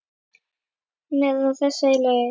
Hann er á þessa leið